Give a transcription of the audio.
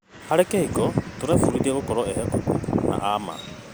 Harĩ kĩhiko, tũrebundithia gũkorwo ehokeku na a ma.